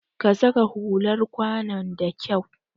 Ka saka hular kwanon da kyau!